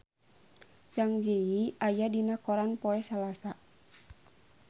Zang Zi Yi aya dina koran poe Salasa